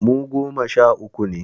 Mu goma sha uku ne